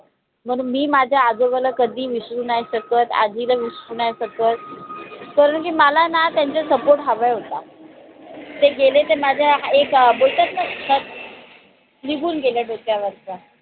म्हणून मी माझ्या आजोबाला कधी विसरू नाय शकत आजीला विसरू नाय शकत कारान की, मला ना त्यांचा support हवा होता. ते गेले त भेटत नसतात. निघून गेले डोक्यावरच